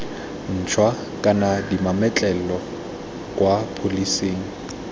ntšhwa kana dimametlelelo kwa pholising